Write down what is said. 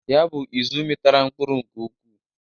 Ya bụ izụ mitara mkpụrụ nke ụkwụ.